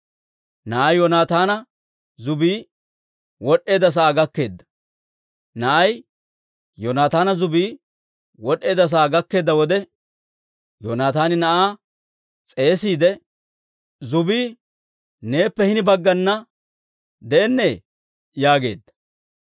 Na'ay Yoonataana zubbii wod'd'eedda sa'aa gakkeedda wode, Yoonataani na'aa s'eesiide, «Zubbii neeppe hini baggana de'ennee?» yaageedda.